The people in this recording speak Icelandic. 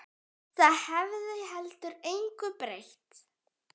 Það hefði heldur engu breytt.